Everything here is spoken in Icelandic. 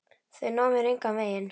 Þau ná mér engan veginn.